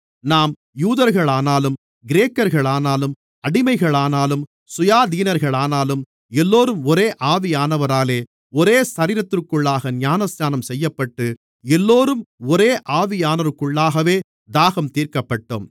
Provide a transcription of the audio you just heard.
நாம் யூதர்களானாலும் கிரேக்கர்களானாலும் அடிமைகளானாலும் சுயாதீனர்களானாலும் எல்லோரும் ஒரே ஆவியானவராலே ஒரே சரீரத்திற்குள்ளாக ஞானஸ்நானம் செய்யப்பட்டு எல்லோரும் ஒரே ஆவியானவருக்குள்ளாகவே தாகம் தீர்க்கப்பட்டோம்